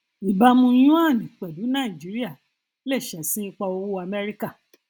ìbámu yuan pẹlú nàìjíríà lè ṣẹsìn ipa owó amẹríkà